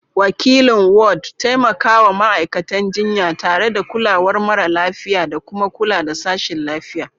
Wakilin Ward: Taimakawa ma'aikatan jinya tare da kulawar mara lafiya da kuma kula da sashin lafiya.